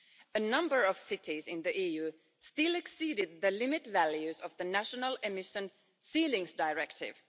A number of cities in the EU still exceeded the limit values of the National Emission Ceilings Directive.